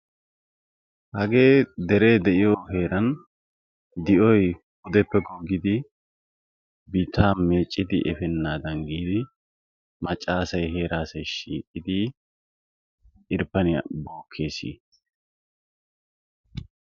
hagee deree de'iyoo heeran di'oy puudeppe googiddi biittaa meeccidi eepenadan giidi maacca aassay heeraa aasay shiiqidi irpaaniyaa bookees.